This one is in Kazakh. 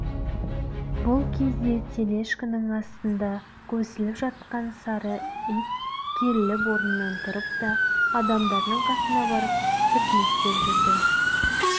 бұл кезде тележкенің астында көсіліп жатқан сары ит керіліп орнынан тұрып да адамдардың қасына барып түртінектеп жүрді